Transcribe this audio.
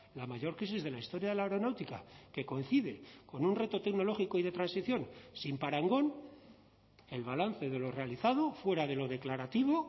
la mayor crisis de la historia de la aeronáutica que coincide con un reto tecnológico y de transición sin parangón el balance de lo realizado fuera de lo declarativo